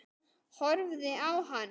Horfi á hann.